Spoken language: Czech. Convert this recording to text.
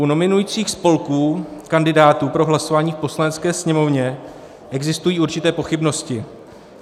U nominujících spolků kandidátů pro hlasování v Poslanecké sněmovně existují určité pochybnosti.